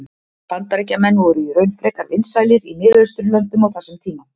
Bandaríkjamenn voru í raun frekar vinsælir í Mið-Austurlöndum á þessum tíma.